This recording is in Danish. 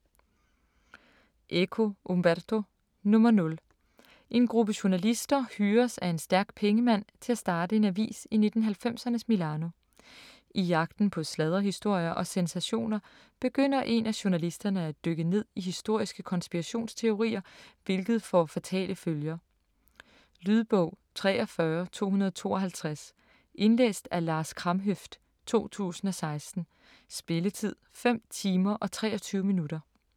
Eco, Umberto: Nr. 0 En gruppe journalister hyres af en stærk pengemand til at starte en avis i 1990'ernes Milano. I jagten på sladderhistorier og sensationer begynder en af journalisterne at dykke ned i historiske konspirationsteorier, hvilket får fatale følger. Lydbog 43252 Indlæst af Lars Kramhøft, 2016. Spilletid: 5 timer, 23 minutter.